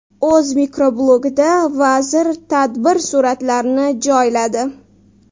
O‘z mikroblogida vazir tadbir suratlarini joyladi.